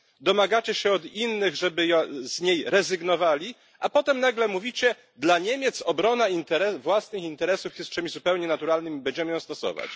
Domagacie się od innych, żeby z niej rezygnowali, a potem nagle mówicie dla Niemiec obrona własnych interesów jest czymś zupełnie naturalnym i będziemy ją stosować.